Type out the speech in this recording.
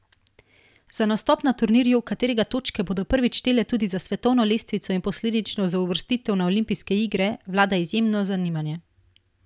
Za nastop na turnirju, katerega točke bodo prvič štele tudi za svetovno lestvico in posledično za uvrstitev na olimpijske igre, vlada izjemno zanimanje.